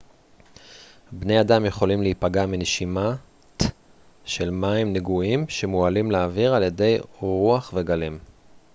בני אדם יכולים להיפגע מנשימת של מים נגועים שמועלים לאוויר על ידי רוח וגלים